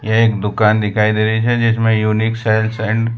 यह एक दुकान दिखाई दे रही है जिसमें यूनिक सेल्स एंड --